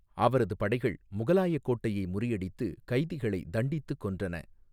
அவரது படைகள் முகலாய கோட்டையை முறியடித்து, கைதிகளை தண்டித்து கொன்றன.